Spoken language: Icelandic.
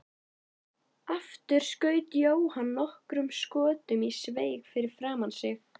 Aftur skaut Jóhann nokkrum skotum í sveig fyrir framan sig.